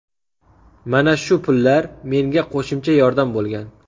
Mana shu pullar menga qo‘shimcha yordam bo‘lgan.